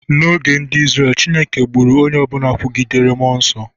N'oge ndị Izrel, Chineke gburu onye ọ bụla kwugidere mmụọ nsọ.